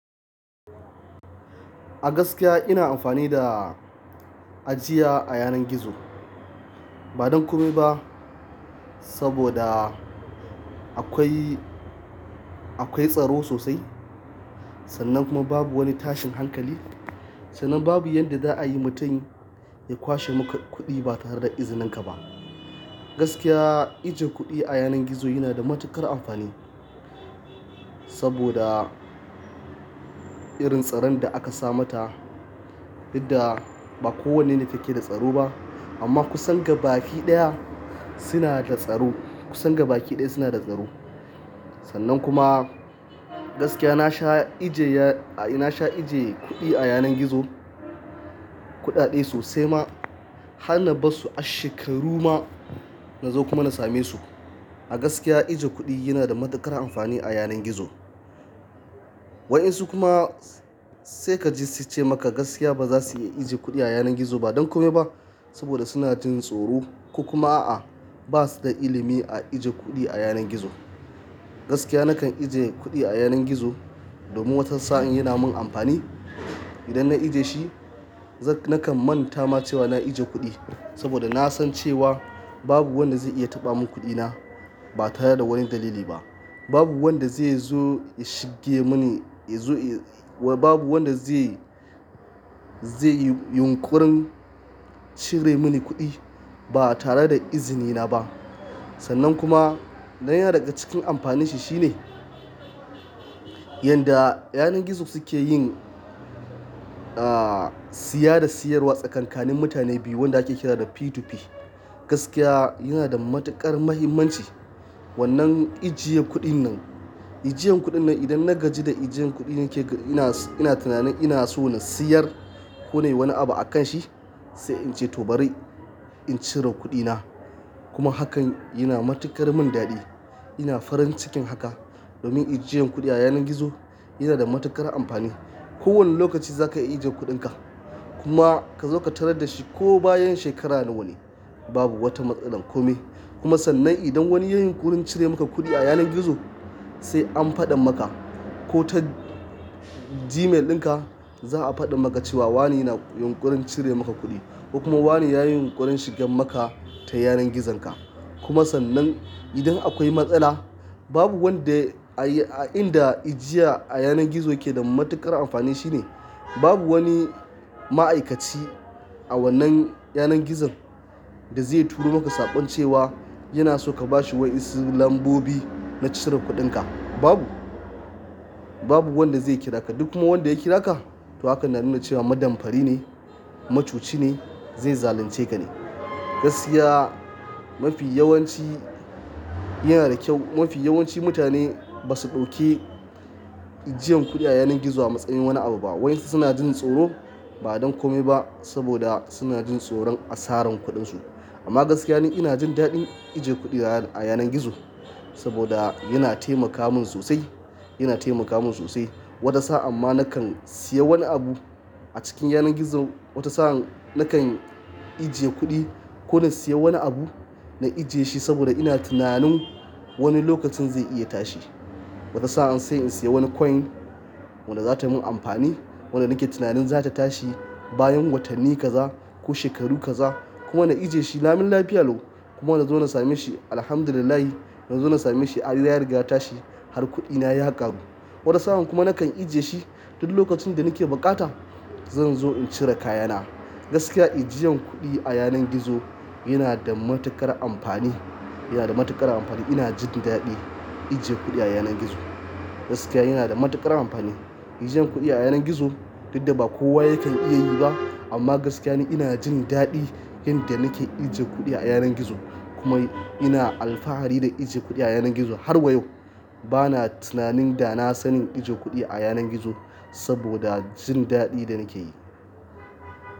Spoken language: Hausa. Gaskiya ina amfani da ajiya a yanar gizo, ba don kome ba saboda akwai, akwai tsaro sosai. Sannan kuma babu wani tashin hankali, sannan babu yanda za'a yi mutum ya kwashe maka kuɗi ba tare da izinin ka ba. Gaskiya ajiye kuɗi a yanar gizo yana da matuƙar amfani saboda irin tsaron da aka sa ma ta, duk da ba kowanne ne yake da tsaro ba. Amma kusan gabaɗaya suna da tsaro, kusan gabaɗaya suna da tsaro. Sannan kuma gaskiya na sha ajiye, na sha ajiye kuɗi a yanar gizo, kuɗaɗe sosai ma, har na bar su a shekaru ma na zo kuma na same su. A gaskiya ijiye kuɗi yana da matuƙar amfani a yanar gizo. Waƴan su kuma sai ka ji su ce maka gaskiya ba za su iya ajiye kuɗi a yanar gizo ba, ba don kome ba saboda suna jin tsoro ko kuma a'a, ba su da ilimi a ajiye kuɗi a yanar gizo. Gaskiya nakan ajiye kuɗi a yanar gizo domin wata sa'in yana min amfani. Idan na ajiye shi, nakan manta ma cewa na ajiye kuɗi saboda na san cewa babu wanda zai iya taɓa min kuɗi na ba tare da wani dalili ba. Babu wanda zai zo ya shige mini, babu wanda zai, zai yi yunƙurin cire mini kuɗi ba tare da izini na ba. Sannan kuma na ya na daga cikin amfanin shi shine yanda yanar gizo suke yin siya da siyarwa tsakanin mutane biyu wanda ake ƙira da P2P. Gaskiya yana da matuƙar muhimmanci wannan ajiyan kuɗin nan. Ajiyan kuɗin nan idan na gaji da ajiyan kuɗin nake, ina tunanin ina so na siyar ko na yi wani abu akan shi sai in ce to bari in cire kuɗina. Kuma hakan yana matuƙar min daɗi. Ina farin cikin haka domin ajiyan kuɗi a yanar gizo yana da matuƙar amfani. Ko wani lokaci za ka iya ajiye kuɗinka kuma ka zo ka tarar da shi ko bayan shekaru nawanne. Babu wata matsala kome. Kuma sannan idan wani ya yi yunƙurin cire maka kuɗi a yanar gizo sai an faɗa maka ko ta Gmail ɗin ka za'a faɗa maka cewa wane yana yunkurin cire maka kuɗi ko kuma wane ya yi yunkurin shiga maka ta yanar gizon ka. Kuma sannan idan akwai matsala babu wanda a inda ajiya a yanar gizo yake da matuƙar amfani shine babu wani ma'aikaci a wannan yanar gizon da zai turo maka saƙon cewa yana so ka bashi wasu lambobi na cire kuɗinka. Babu, babu wanda zai ƙira ka duk kuma wanda ya ƙira ka, to hakan na nuna cewa madanfari ne, macoci ne, zai zalunce ka ne. Gaskiya mafi yawanci yana da kyau. Mafi yawanci mutane ba su ɗauki ajiyan kuɗi a yanar gizo a matsayin wani abu ba. Wa'ƴan su suna jin tsoro ba don kome ba saboda suna jin tsoron asarar kuɗin su. Amma gaskiya ni ina jin daɗin ajiye kuɗi a yanar gizo saboda yana taimaka min sosai, yana taimaka min sosai. Wani sa'an ma nakan siya wani abu a cikin yanar gizo, wata sa'an nakan ajiye kuɗi ko na siya wani abu na ajiye shi saboda ina tunanin wani lokacin zai iya tashi. Wata sa'an sai in siya wani coin wanda za ta min amfani, wanda nake tunanin za ta tashi bayan watanni kaza ko shekaru kaza kuma na ajiye shi lami lafiya lau, kuma na zo na same shi Alhamdulillah. Na zo na same shi ya riga ya tashi, har kuɗina ya ƙaru. Wata sa'an kuma nakan ajiye shi duk lokacin da nake buƙata zan zo in cire kayana. Gaskiya ajiyan kuɗi a yanar gizo yana da matuƙar amfani, yana da matuƙar amfani. Ina jin daɗi ajiye kuɗi a yanar gizo. Gaskiya yana da matuƙar amfani. Ajiyan kuɗi a yanar gizo duk da ba kowa yake iya yi ba amma gaskiya ni ina jin daɗi yanda nake ajiye kuɗi a yanar gizo. Kuma ina alfahari da ajiye kuɗi a yanar gizo har wa yau. Bana tunanin da na sani ajiye kuɗi a yanar gizo saboda jin daɗi da nake yi.